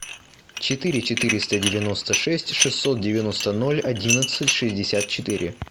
четыре четыреста девяносто шесть шестьсот девяносто ноль одиннадцать шестьдесят четыре